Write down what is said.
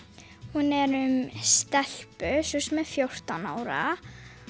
hún er um stelpu sem er fjórtán ára